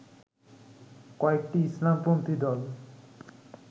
কয়েকটি ইসলামপন্থী দল